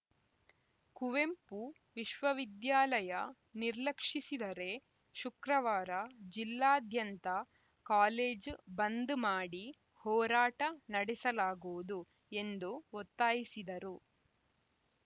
ಕುವೆಂಪು ವಿಶ್ವವಿದ್ಯಾಲಯ ನಿರ್ಲಕ್ಷಿಸಿದರೆ ಶುಕ್ರವಾರ ಜಿಲ್ಲಾದ್ಯಂತ ಕಾಲೇಜು ಬಂದ್‌ ಮಾಡಿ ಹೋರಾಟ ನಡೆಸಲಾಗುವುದು ಎಂದು ಒತ್ತಾಯಿಸಿದರು